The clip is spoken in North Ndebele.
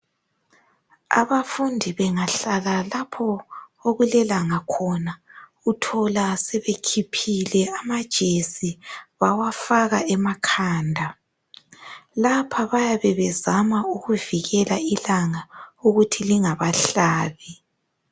Abafundi bengahlala lapho okulelanga khona uthola sebekhiphile amajesi bawafaka emakhanda lapha bayabe bezama ukuvikela ilanga ukuthi lingabahlabi.